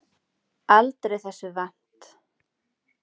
Aldrei þessu vant.